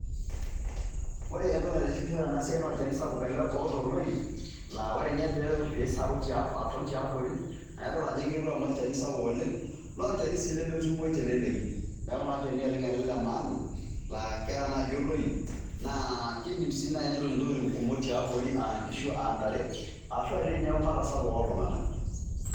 Ore entoki naitishipisho tena siai naa olchani sapuk ele oata oloip laa ore nye piisaru aton tiabori nae idol ajo kiretu amu olchani sapuk oleng' naa olchani sii lemetumoyu te leleki. Neeku naa olchani ele oleng' le maana laa keeta naaji oloip naa kiidim naa sii nai netoni ntokitin kumok tiabori a nkishu, a ntare ashu a tiinye eumata sapuk oltung'anak.